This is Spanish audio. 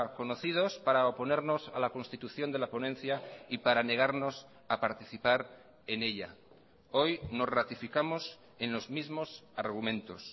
conocidos para oponernos a la constitución de la ponencia y para negarnos a participar en ella hoy nos ratificamos en los mismos argumentos